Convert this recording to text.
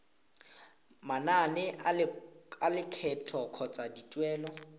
manane a lekgetho kgotsa dituelo